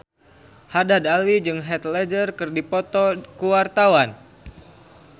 Haddad Alwi jeung Heath Ledger keur dipoto ku wartawan